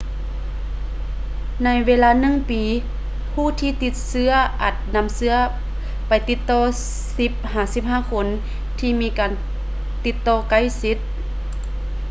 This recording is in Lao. ໃນເວລາໜຶ່ງປີ ຜູ້ທີ່ຕິດເຊຶ້ອອາດນຳເຊື້ອໄປຕິດຕໍ່ 10-15 ຄົນທີ່ມີການຕິດຕໍ່ໃກ້ຊິດ